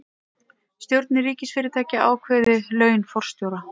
Stjórnir ríkisfyrirtækja ákveði laun forstjóra